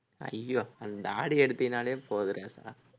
ஐயோ அந்த தாடியை எடுத்தீன்னாலே போதும் ராஜா